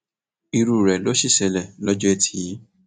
irú rẹ ló sì ṣẹlẹ lọjọ etí yìí